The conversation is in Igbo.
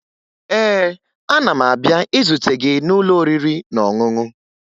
Ee, ana m abịa izute gị n'ụlọ oriri na ọṅụṅụ